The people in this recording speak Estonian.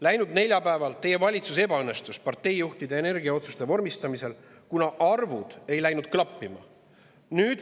Läinud neljapäeval teie valitsus ebaõnnestus parteijuhtide energiaotsuste vormistamisel, kuna arvud ei läinud klappima.